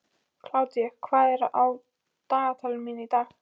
Kládía, hvað er á dagatalinu mínu í dag?